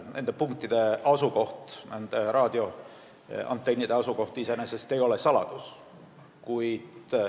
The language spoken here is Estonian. Nende punktide asukoht, nende raadioantennide asukoht iseenesest ei ole saladus.